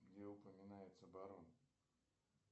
где упоминается барон